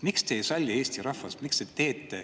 Miks te ei salli Eesti rahvast?